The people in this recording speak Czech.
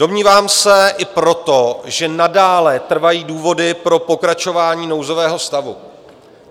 Domnívám se i proto, že nadále trvají důvody pro pokračování nouzového stavu.